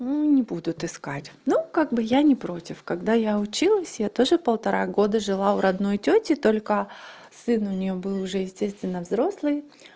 ну не будут искать ну как бы я не против когда я училась я тоже полтора года жила у родной тёти только сын у неё был уже естественно взрослый